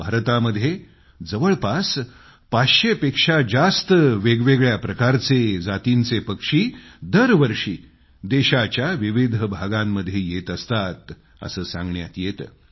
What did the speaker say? भारतामध्ये जवळपास पाचशेंपेक्षा जास्त वेगवेगळ्या प्रकारच्या जातींचे पक्षी दरवर्षी देशाच्या विविध भागांमध्ये येत असतात असं सांगण्यात येतं